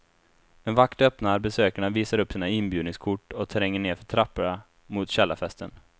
En vakt öppnar, besökarna visar upp sina inbjudningskort och tränger ner för trapporna mot källarfesten.